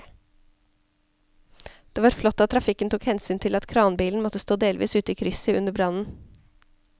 Det var flott at trafikken tok hensyn til at kranbilen måtte stå delvis ute i krysset under brannen.